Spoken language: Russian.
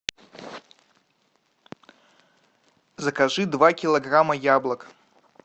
закажи два килограмма яблок